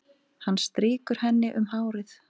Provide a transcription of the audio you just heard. Hann strýkur henni um hárið.